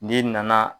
N'i nana